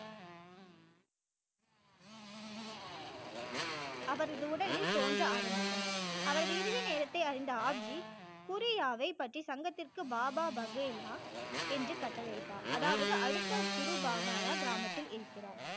அவரது உடலில் தோன்ற ஆரம்பித்தன அவரது இறுதி நேரத்தை அறிந்த ஆப் ஜி குறியாவை பற்றி சங்கத்திற்கு பாபா பகேலா என்று கட்டளை இட்டார் அதாவது அடுத்த குரு பாகார கிராமத்தில் இயக்கினார்